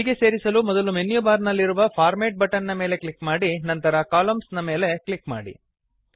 ಹೀಗೆ ಸೇರಿಸಲು ಮೊದಲು ಮೆನ್ಯು ಬಾರ್ ನಲ್ಲಿರುವ ಫಾರ್ಮ್ಯಾಟ್ ಬಟನ್ ನ ಮೇಲೆ ಕ್ಲಿಕ್ ಮಾಡಿ ನಂತರ ಕಾಲಮ್ನ್ಸ್ ಎಂಬಲ್ಲಿ ಕ್ಲಿಕ್ ಮಾಡಿ